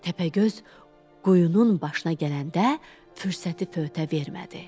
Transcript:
Təpəgöz qoyunun başına gələndə fürsəti fövtə vermədi.